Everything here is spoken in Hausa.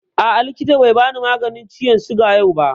A'a, likitan bai bani maganin ciwon suga yau ba